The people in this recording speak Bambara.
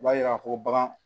U b'a yira ko bagan